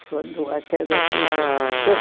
Quando a queda que eu dei.